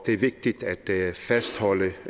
er vigtigt at fastholde